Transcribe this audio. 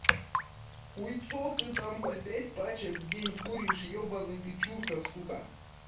хуйсцов ты там по пять пачек в день куришь ебанный ты чурка сука